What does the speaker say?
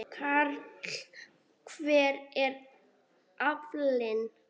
Karl: Hver er aflinn?